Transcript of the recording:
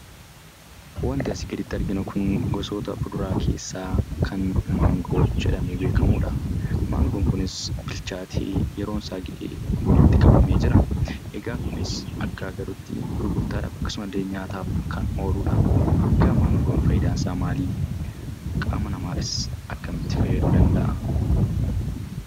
Wanti asii gaditti arginu kun gosoota fuduraa keessaa kan Maangoo jedhamee beekamudha. Mangoon kunis bilchaatee yeroon isaa ga'ee walitti qabamee jira. Egaa kunis akka agarruttii gurgurtaadhaaf akkasumallee nyaataaf kan ooludha. Egaa maangoon faayidaansaa maalii? Qaama namaafis akkamitti fayyaduu danda'a?